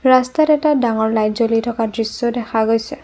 ৰাস্তাত এটা ডাঙৰ লাইট জ্বলি থকা দৃশ্য দেখা গৈছে।